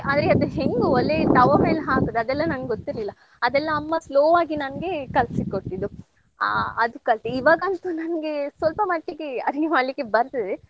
ಆದ್ರೆ ಅದ್ ಹೆಂಗ್ ಒಲೆ ತವ್ವ ಮೇಲೆ ಹಾಕುದ್ ಅದೆಲ್ಲ ನಂಗ್ ಗೊತ್ತಿರ್ಲಿಲ್ಲ. ಅದೆಲ್ಲ ಅಮ್ಮ slow ಆಗಿ ನಂಗೆ ಕಲ್ಸಿಕೊಟ್ಟಿದು ಆ ಅದ್ ಕಲ್ತೆ ಇವಾಗಂತೂ ನನ್ಗೆ ಸ್ವಲ್ಪ ಮಟ್ಟಿಗೆ ಅಡುಗೆ ಮಾಡ್ಲಿಕ್ಕೆ ಬರ್ತದೆ.